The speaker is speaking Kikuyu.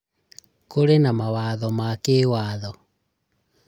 Kurĩ na mawatho ma kĩĩwatho